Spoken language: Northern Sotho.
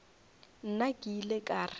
nna ke ile ka re